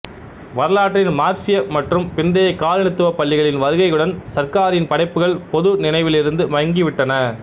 வரலாற்றின் மார்க்சிய மற்றும் பிந்தைய காலனித்துவ பள்ளிகளின் வருகையுடன் சர்க்காரின் படைப்புகள் பொது நினைவிலிருந்து மங்கிவிட்டன